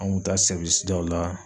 An ŋun taa daw la